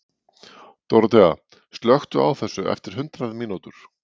Dorothea, slökktu á þessu eftir hundrað mínútur.